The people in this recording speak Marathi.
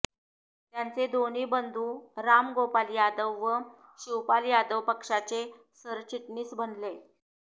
त्यांचे दोन्ही बंधू राम गोपाल यादव व शिवपाल यादव पक्षाचे सरचिटणीस बनले